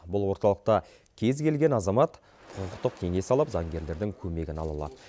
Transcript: бұл орталықта кез келген азамат құқықтық кеңес алып заңгерлердің көмегін ала алады